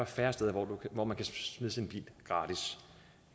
færre steder hvor man gratis kan smide sin bil